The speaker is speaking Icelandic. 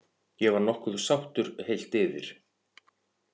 Ég var nokkuð sáttur, heilt yfir.